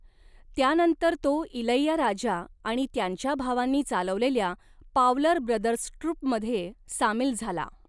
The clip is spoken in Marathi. त्यानंतर तो इलैयाराजा आणि त्यांच्या भावांनी चालवलेल्या 'पावलर ब्रदर्स ट्रूप'मध्ये सामील झाला.